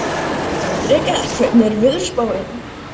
Hendrikka, hvernig er veðurspáin?